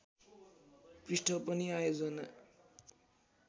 पृष्ठ पनि आयोजना